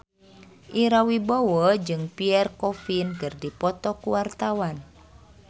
Ira Wibowo jeung Pierre Coffin keur dipoto ku wartawan